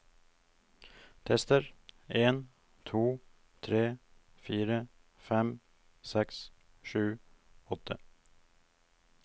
Tester en to tre fire fem seks sju åtte